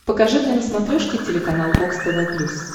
покажи мне на смотрешке телеканал бокс тв плюс